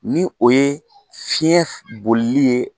Ni o ye fiɲɛ bolili ye